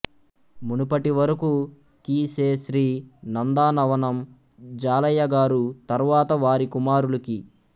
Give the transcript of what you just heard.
మునుపటివరకు కీ శే శ్రీ నందనవనం జాలయ్య గారు తరువాత వారి కుమారులు కీ